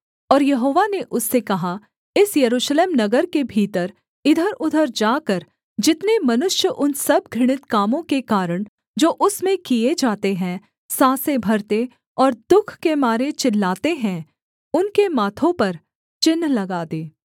और यहोवा ने उससे कहा इस यरूशलेम नगर के भीतर इधरउधर जाकर जितने मनुष्य उन सब घृणित कामों के कारण जो उसमें किए जाते हैं साँसें भरते और दुःख के मारे चिल्लाते हैं उनके माथों पर चिन्ह लगा दे